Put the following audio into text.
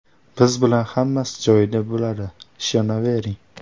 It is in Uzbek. Biz bilan hammasi joyida bo‘ladi, ishonavering.